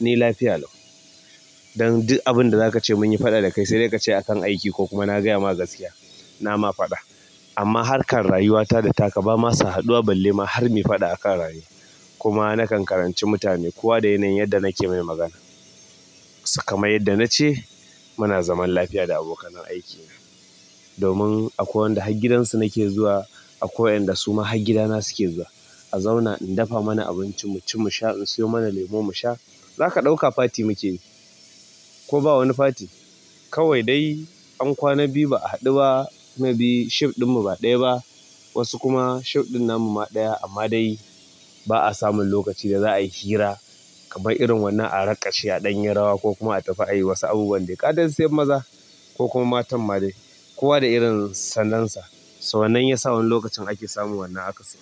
ni lafiya allo. Dan duk abinda zaka ce mun yi faɗa da kai sai dai ka ce akan aiki ko kuma na gaya ma gaskiya. Na ma faɗa. Ama harkar rayuwata da takka ba ma sa haduwa balle har muyi faɗa akan rayuwa kuma nakan karanci mutane kowa da yanayin yadda nake mai magana. Sai kamar yadda na ce, muna zaman lafiya da abokanan aikina. Domin akwai waɗanda har gidansu nake zuwa akwai waɗanda suma har gidana suna zuwa a zauna in dufa mana abinci mu ci, mu sha. In siyo mana lemo mu sha. Zaka ɗauka fati muke yi ko ba wani fati. Kawai dai an kwana biyu ba a haɗu ba. Maybe shift ɗinmu ba ɗaya ba. Wasu kuma shift ɗin namu ma ɗaya amma dai ba'a samun lokaci da za'a yi hira kamar irin wannan a raƙashe a ɗan yi rawa ko kuma a tafi a ɗan yi wasu abubuwan dai. Kasan sai maza ko kuma matan ma dai, kowa da irin sallon sa. So wannan yasa wani lokacin ake samun wannan akasin.